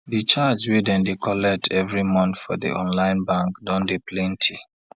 di charge wey dem don dey collect every month for di online bank don dey plenty